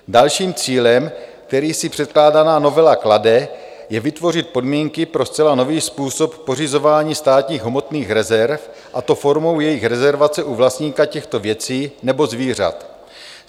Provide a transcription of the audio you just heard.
Dalším cílem, který si předkládaná novela klade, je vytvořit podmínky pro zcela nový způsob pořizování státních hmotných rezerv, a to formou jejich rezervace u vlastníka těchto věcí nebo zvířat.